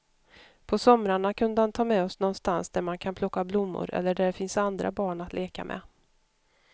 På somrarna kunde han ta med oss någonstans där man kan plocka blommor eller där det finns andra barn att leka med.